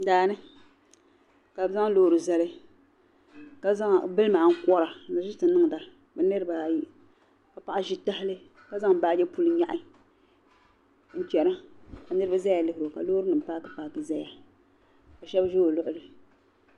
Daa ni ka bɛ zaŋ loori zali ka bilimi ankora n-ʒi nti niŋda bɛ niriba ayi ka paɣa ʒi tahali ka zaŋ baaji puli nyaɣi n-chana ka niriba zaya lihiri o ka baasinima paaki paaki zaya ka shɛba ʒi o luɣili.